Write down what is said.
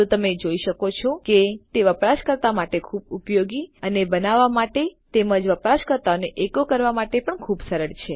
તો તમે જોઈ શકો છો કે તે વાપરવા માટે ખુબ ઉપયોગી અને બનાવવા માટે તેમજ વપરાશકર્તાઓને એકો કરવા માટે પણ ખુબ સરળ છે